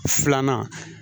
Filanan